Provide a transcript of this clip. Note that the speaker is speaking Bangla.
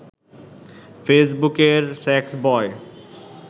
ফেসবুকের সেক্সবয়